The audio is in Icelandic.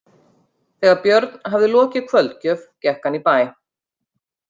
Þegar Björn hafði lokið kvöldgjöf gekk hann í bæ.